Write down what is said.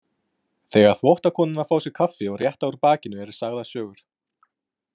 Þegar þvottakonurnar fá sér kaffi og rétta úr bakinu eru sagðar sögur.